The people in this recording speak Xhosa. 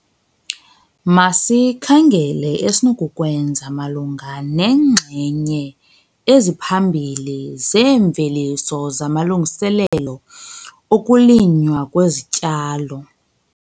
Masikhangele esinokukwenza malunga neenxenye eziphambili zeemveliso zamalungiselelo okulinywa kwezityalo.